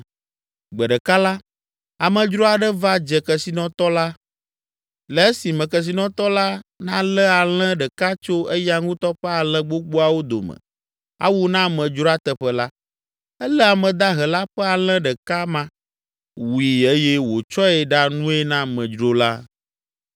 “Gbe ɖeka la, amedzro aɖe va dze kesinɔtɔ la. Le esime kesinɔtɔ la nalé alẽ ɖeka tso eya ŋutɔ ƒe alẽ gbogboawo dome awu na amedzroa teƒe la, elé ame dahe la ƒe alẽ ɖeka ma, wui eye wòtsɔe ɖa nue na amedzro la.”